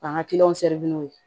K'an ka kiliyanw seri n'u ye